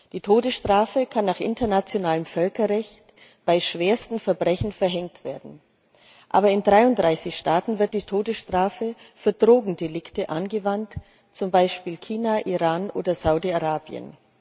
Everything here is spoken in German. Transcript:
Die Todesstrafe kann nach internationalem Völkerrecht bei schwersten Verbrechen verhängt werden, aber in 33 Staaten wird die Todesstrafe für Drogendelikte angewandt, zum Beispiel in China, Iran oder Saudi Arabien.